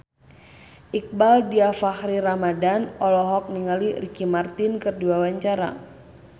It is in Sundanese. Iqbaal Dhiafakhri Ramadhan olohok ningali Ricky Martin keur diwawancara